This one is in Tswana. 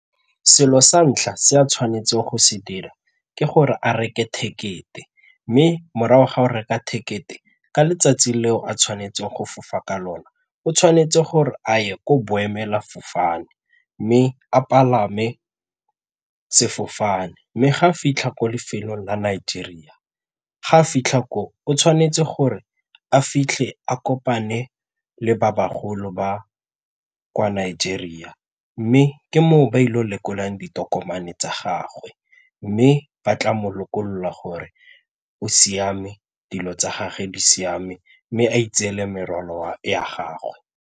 Selo sa ntlha se a tshwanetseng go se dira ke gore a reke tekete mme morago ga o reka ticket e ka letsatsi leo a tshwanetseng go fofa ka lone o tshwanetse gore a ye ko boemelafofane mme a palame sefofane. Mme ga fitlha ko lefelong la Nigeria, ga fitlha ko o tshwanetse gore a fitlhe a kopane le ba bagolo ba kwa Nigeria mme ke moo ba ile go lekolang ditokomane tsa gagwe mme ba tla mo lokolola gore o siame, dilo tsa gage di siame mme a itseela merwalo ya gagwe.